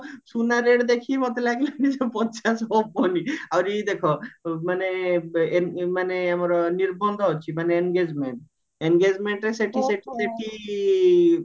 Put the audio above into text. ସୁନା rate ଦେଖିକି ମତେ ଲାଗିଲାଣି ପଚାଶେ ହବନି ଆହୁରି ଦେଖ ମାନେ ମାନେ ଆମର ନିର୍ବନ୍ଧ ମାନେ engagement engagementରେ ସେଠି ସେଠି ସେଠି